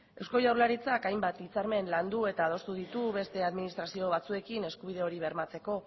eusko jaurlaritzak hainbat hitzarmen landu eta adostu ditu beste administrazio batzuekin eskubide hori bermatzeko